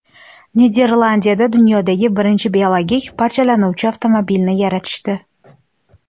Niderlandiyada dunyodagi birinchi biologik parchalanuvchi avtomobilni yaratishdi.